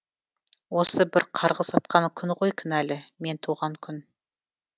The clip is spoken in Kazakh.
осы бір қарғыс атқан күн ғой кінәлі мен туған күн